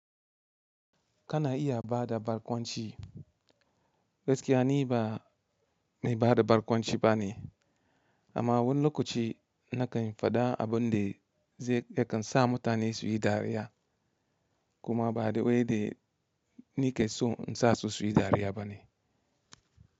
Kana iya bada barkwanci, gaskiya ni ba, mai bada barkwanci bane, amma wani lokaci na kan faɗa abun da zai yakan sa mutane suyi dariya kuma by the way they ni ke so in sa su suyi dariya bane.